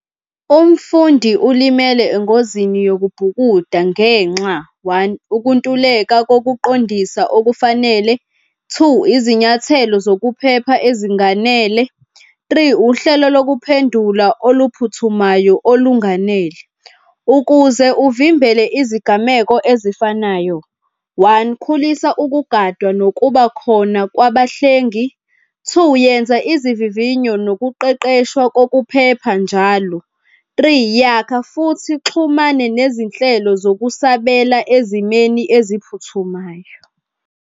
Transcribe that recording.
Umfundi ulimele engozini yokubhukuda ngenxa, one, ukuntuleka kokuqondisa okufanele. Two izinyathelo zokuphepha ezinganele. Three, uhlelo lokuphendula oluphuthumayo olunganele. Ukuze uvimbele izigameko ezifanayo, one, khulisa ukugadwa nokuba khona kwabahlengi. Two, yenza izivivinyo nokuqeqeshwa kokuphepha njalo. Three, yakha futhi uxhumane nezinhlelo zokusabela ezimeni eziphuthumayo.